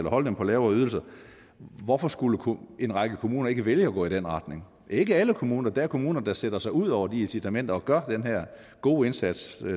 at holde dem på lavere ydelser hvorfor skulle en række kommuner så ikke vælge at gå i den retning det ikke alle kommuner der er kommuner der sætter sig ud over de incitamenter og gør den her gode indsats